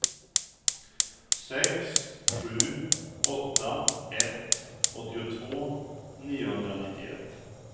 sex sju åtta ett åttiotvå niohundranittioett